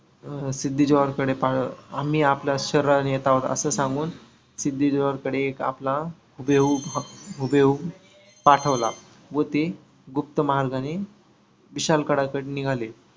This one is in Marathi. अं सिद्धी जोहरकडे आम्ही आपल्या सर्व नेत्यांना असा सांगून सिद्धी जोहरकडे एक आपला हुभेहूब हुभेहूब पाठवला व ते गुप्त मार्गाने विशाल गडाकढे निघाले.